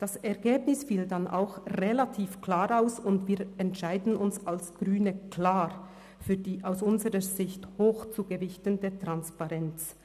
Das Ergebnis fiel dann auch relativ klar aus, und wir entscheiden uns als Grüne klar für die aus unserer Sicht hoch zu gewichtende Transparenz.